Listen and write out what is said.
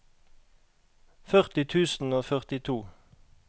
førti tusen og førtito